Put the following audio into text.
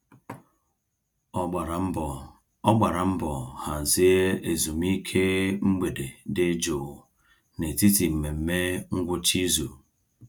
Ọ gbara mbọ Ọ gbara mbọ hazie ezumiike mgbede dị jụụ n'etiti mmemme ngwụcha izu.